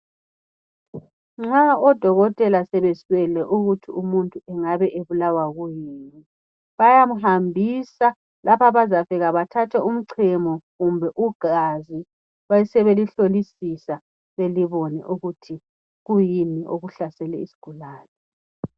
Nxa odokotela sebeswele ukuthi imuntu ubulawa kuyini bayamhambisa lapha abazafika khona bethathe umcemo kumbe igazi besebelihlolisisa bebone ukuthi kuyini okuphethe isigulane.